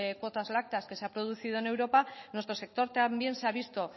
cuotas lácteas que se ha producido en europa nuestro sector también se ha visto